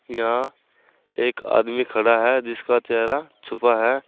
यहां एक आदमी खड़ा है जिसका चेहरा छुपा है।